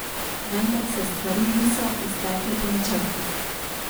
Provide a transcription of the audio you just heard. Vendar se stvari niso iztekle po načtrih.